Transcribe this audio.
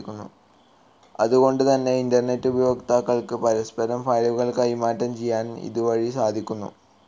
അതു കൊണ്ട് തന്നെ ഇന്റർനെറ്റ്‌ ഉപയോക്താക്കൾക്കു പരസ്പരം ഫയലുകൾ കൈമാറ്റം ചെയ്യാൻ ഇതു വഴി സാധിക്കുന്നു.